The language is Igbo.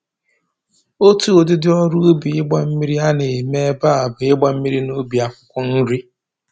Otu ụdịdị ọrụ ubi igba mmiri a na-eme ebe a bụ ịgba mmiri n'ubi akwụkwọ nri